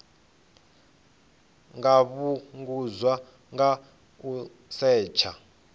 nga fhungudzwa nga u setsha